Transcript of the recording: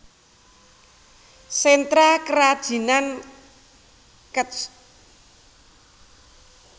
Sentra Kerajinan Kec